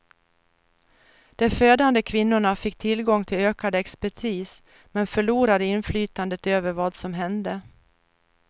De födande kvinnorna fick tillgång till ökad expertis men förlorade inflytandet över vad som hände.